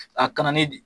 A kana ni di